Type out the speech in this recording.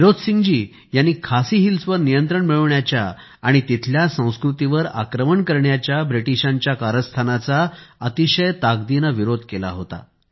टिरोत सिंह जी यांनी खासी हिल्स वर नियंत्रण मिळवण्याच्या आणि तिथल्या संस्कृतीवर आक्रमण करण्याच्या ब्रिटिशांच्या कारस्थानाचा अतिशय ताकदीने विरोध केला होता